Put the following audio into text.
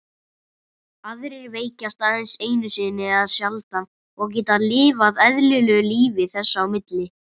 Aðrir veikjast aðeins einu sinni eða sjaldan og geta lifað eðlilegu lífi þess á milli.